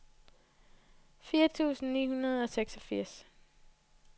fire tusind ni hundrede og seksogfirs